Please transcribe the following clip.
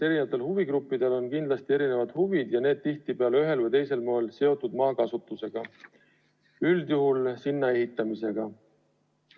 Eri huvigruppidel on kindlasti erinevad huvid ja need on tihtipeale ühel või teisel moel seotud maakasutusega, üldjuhul maatükile ehitamisega.